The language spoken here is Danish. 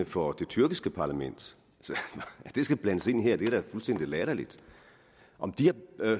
for det tyrkiske parlament så at det skal blandes ind i det her er da fuldstændig latterligt om de har